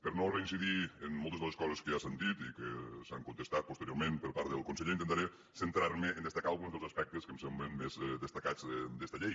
per no reincidir en moltes de les coses que ja s’han dit i que s’han contestat posteriorment per part del conseller intentaré centrar me a destacar alguns dels aspectes que em semblen més destacats d’esta llei